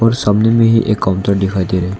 सामने में भी एक काउंटर दिखाई दे रहा है।